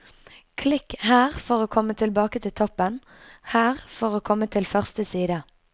Klikk her for å komme tilbake til toppen, her for å komme til første side.